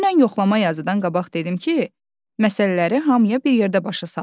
Dünən yoxlama yazıdan qabaq dedim ki, məsələləri hamıya bir yerdə başa salım.